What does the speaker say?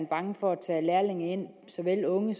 bange for at tage lærlinge ind såvel unge